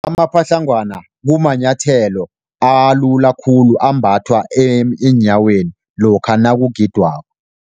Amapatlagwana kumanyathelo alula khulu, ambathwa eenyaweni lokha nakugidwako.